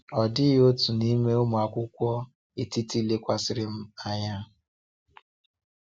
Ọ dịghị otu n’ime ụmụ akwụkwọ etiti lekwasịrị m anya.